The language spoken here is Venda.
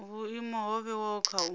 vhuimo ho vhewaho kha u